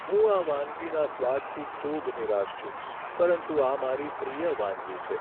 હું આ વાનગીના સ્વાદથી ખૂબ નિરાશ છું પરંતુ આ મારી પ્રિય વાનગી છે.